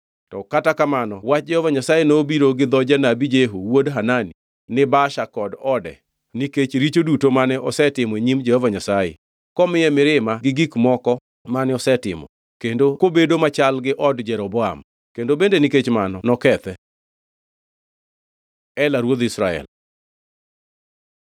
Kata kamano, wach Jehova Nyasaye nobiro gi dho janabi Jehu wuod Hanani ni Baasha kod ode, nikech richo duto mane osetimo e nyim Jehova Nyasaye, komiye mirima gi gik moko mane osetimo, kendo kobedo machal gi od Jeroboam, kendo bende nikech mano nokethe. Ela ruodh Israel